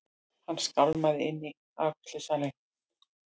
Hann skálmaði inn í afgreiðslusalinn.